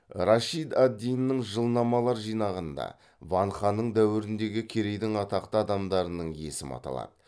рашид ад диннің жылнамалар жинағында ван ханның дәуіріндегі керейдің атақты адамдарының есімі аталады